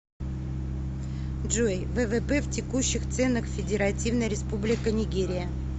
джой ввп в текущих ценах федеративная республика нигерия